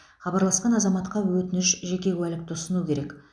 хабарласқан азаматқа өтініш жеке куәлікті ұсыну керек